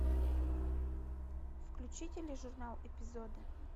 включи тележурнал эпизоды